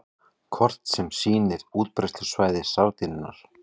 Kort sem sýnir útbreiðslusvæði sardínunnar.